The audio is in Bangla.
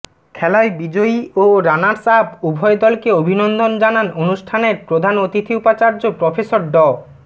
খেলায় বিজয়ী ও রানার্স আপ উভয় দলকে অভিনন্দন জানান অনুষ্ঠানের প্রধান অতিথি উপাচার্য প্রফেসর ড